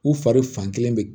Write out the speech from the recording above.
U fari fan kelen bɛ